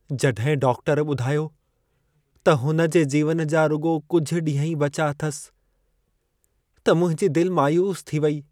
जॾहिं डाक्टर ॿुधायो त हुन जे जीवन जा रुॻो कुझु ॾींह ई बचा अथसि त मुंहिंजी दिलि मायूसु थी वई।